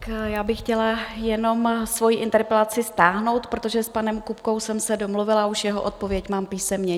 Já bych chtěla jenom svoji interpelaci stáhnout, protože s panem Kupkou jsem se domluvila, už jeho odpověď mám písemně.